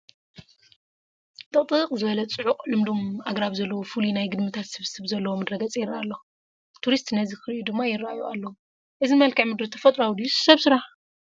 ጥቕጥቅ ዝበለ ፅዑቕ ልምሉም ኣግራብ ዘለዎ ፍሉይ ናይ ግድምታት ስብስብ ዘለዎ ምድረ ገፅ ይርአ ኣሎ፡፡ ቱሪስት ነዚ ክርእዩ ድማ ይርአዩ ኣለዉ፡፡ እዚ መልክዓ ምድሪ ተፈጥሯዊ ድዩስ ሰብ ስራሕ?